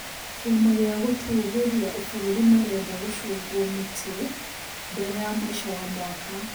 Kĩama gĩa gũtũũgĩria bũrũri marenda gũcungwo mĩtĩ mbere ya mũico wa mwaka